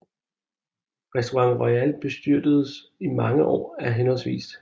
Restaurant Royal bestyredes i mange år af hhv